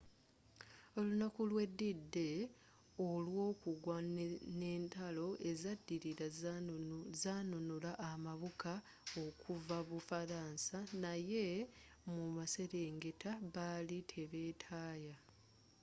olunaku lwe d-day olwokugwa n'entalo ezaddirira zanunula amabuka okuva bufaransa naye mu maserengeta baali tebetaaya